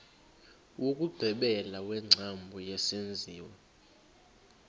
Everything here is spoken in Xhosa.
wokugqibela wengcambu yesenziwa